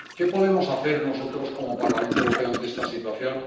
¿Qué podemos hacer nosotros, como Parlamento Europeo, ante esta situación?